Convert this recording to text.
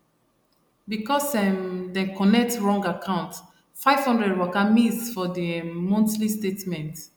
because um dem connect wrong account five hundred waka miss for di um monthly statement